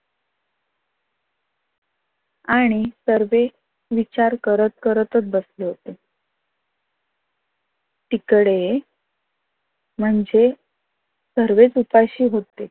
आणि सर्व विचार करत करतच बसले होते. तिकडे म्हणजे सर्वच उपाशी होते.